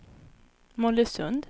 Mollösund